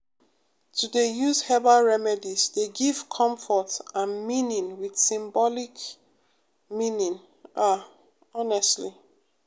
to dey use herbal remedies dey give comfort and meaning with symbolic um meaning ah honestly